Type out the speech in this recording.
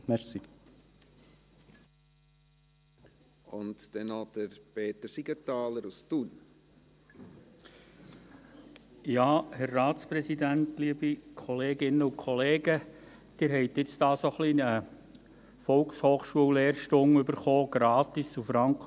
Sie haben jetzt hier eine kleine Volkshochschullehrstunde über die Verkehrssituation in Thun erhalten, gratis und franko.